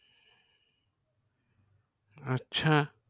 আচ্ছা